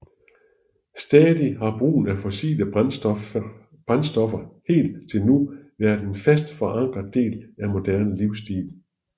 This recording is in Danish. Samtidig har brugen af fossile brændstoffer helt til nu været en fast forankret del af moderne livsstil